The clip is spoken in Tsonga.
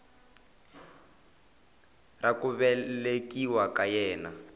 ra ku velekiwa ka yena